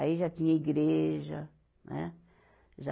Aí já tinha igreja, né? já